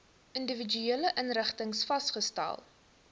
individuele inrigtings vasgestel